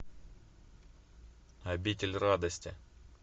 обитель радости